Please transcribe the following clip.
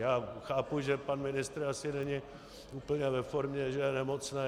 Já chápu, že pan ministr asi není úplně ve formě, že je nemocný.